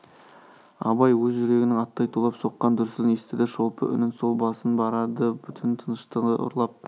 абай өз жүрегінің аттай тулап соққан дүрсілін естіді шолпы үнін сол басып барады түн тыныштығы ұрлап